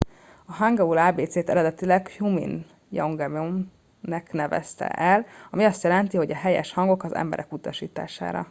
a hangeul ábécét eredetileg hunmin jeongeum nak nevezte el ami azt jelenti hogy a helyes hangok az emberek utasítására